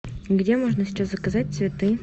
где можно сейчас заказать цветы